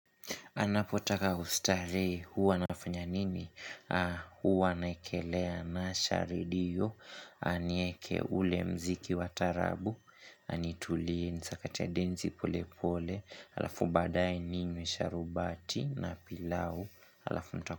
Anapotaka kustarehe huwa nafanya nini huwa naekelea naasha redio Anieke ule muziki wa taarabu Anitulie nisakate densi pole pole halafu baadaye ninywe sharubati na pilau halafu.